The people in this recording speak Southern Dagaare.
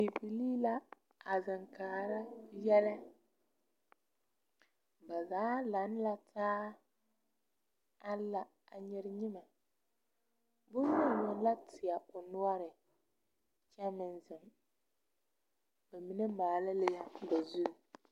Bibilii la a zeŋ karaa yɛlɛ ba zaa lantaa la a nyere nyemɛ boŋyeni yoŋ la teɛ o noɔre kyɛ meŋ zeŋ ba mine maale la zu